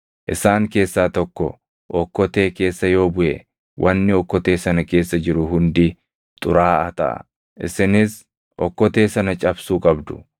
Isaan keessaa tokko okkotee keessa yoo buʼe, wanni okkotee sana keessa jiru hundi xuraaʼaa taʼa; isinis okkotee sana cabsuu qabdu.